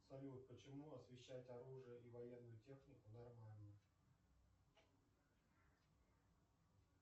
салют почему освящать оружие и военную технику нормально